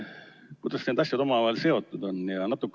Kuidas need asjad omavahel seotud on?